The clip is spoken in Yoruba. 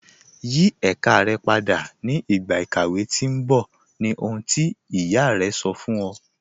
Yí èká rẹ̀ pádà ni igba ikàwé tì n bọ̀, ni oṣùn tí iyá rẹ̀ sọ̀ fún ọ̀.